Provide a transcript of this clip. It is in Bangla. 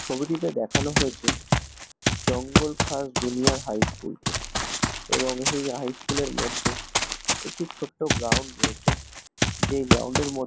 ছবিটিতে দেখানো হয়েছে Jangal first junior high school -কে এবং এই হাই স্কুলের মধ্যে একটি ছোটো গ্রাউন্ড রয়েছে। যেই গ্রাউন্ডের মধ্যে--